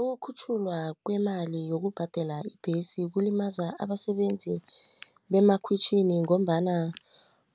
Ukukhutjhulwa kwemali yokubhadela ibhesi kulimaza abasebenzi bemakhwitjhini ngombana